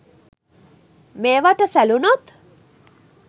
මේවට සැලූණොත්